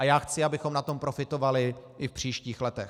A já chci, abychom na tom profitovali i v příštích letech.